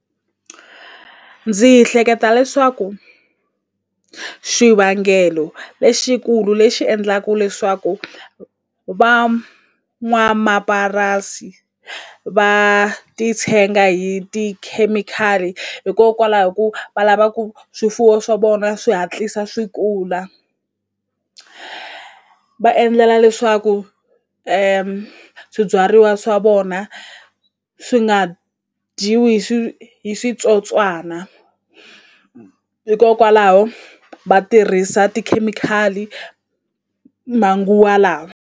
Ndzi hleketa leswaku xivangelo lexikulu lexi endlaku leswaku va ti tshenga hi tikhemikhali hikokwalaho ku va lava ku swifuwo swa vona swi hatlisa swi kula va endlela leswaku swibyariwa swa vona swi nga dyiwi hi hi switsotswana hikokwalaho va tirhisa tikhemikhali manguva lawa.